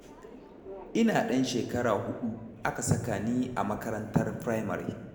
Ina ɗan shekara huɗu aka saka ni a makarantar firamare.